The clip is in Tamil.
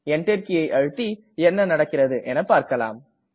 Enter கீயை அழுத்தி என்ன நடக்கிறது என்று பார்க்கலாம்